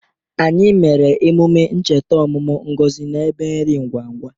Anyị mere emume ncheta ọmụmụ Ngozi na ebe nri ngwa ngwa.